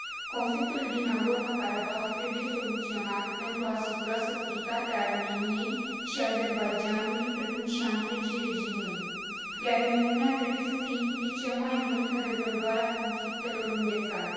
Conflictul din Nagorno Karabah trebuie soluționat pentru a asigura securitatea Armeniei și a Azerbaidjanului, precum și a întregii regiuni, iar Uniunea trebuie să se implice mai mult în rezolvarea conflictelor înghețate.